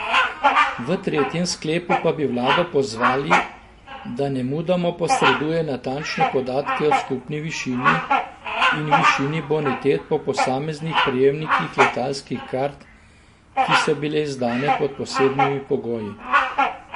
V tretjem sklepu pa bi vlado pozvali, da nemudoma posreduje natančne podatke o skupni višini in višini bonitet po posameznih prejemnikih letalskih kart, ki so bile izdane pod posebnimi pogoji.